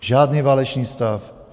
Žádný válečný stav.